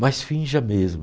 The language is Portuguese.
Mas finja mesmo.